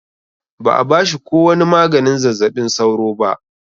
Ba a bashi ko wani maganin zazzabin sauro ba.